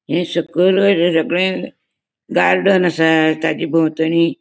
ये सकल गार्डन असा ताचे बोवतणि --